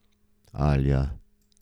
Alja.